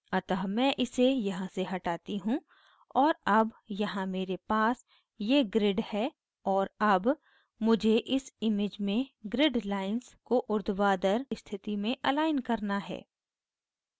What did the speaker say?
अतः मैं इसे यहाँ से हटाती हूँ और अब यहाँ मेरे पास ये grid है और अब मुझे इस image में grid lines को उर्ध्वाधर स्थिति में अलाइन करना है